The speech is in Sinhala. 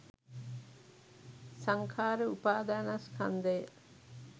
සංඛාර උපාදානස්කන්ධය